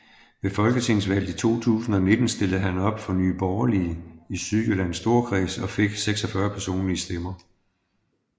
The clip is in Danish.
Ved folketingsvalget 2019 stillede han op for Nye Borgerlige i Sydjyllands Storkreds og fik 46 personlige stemmer